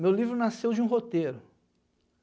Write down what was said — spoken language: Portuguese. Meu livro nasceu de um roteiro.